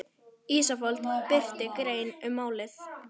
Ísafold birti grein um málið